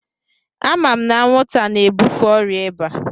Ama m na anwụnta na-ebufe ọrịa ịba.